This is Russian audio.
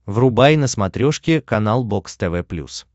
врубай на смотрешке канал бокс тв плюс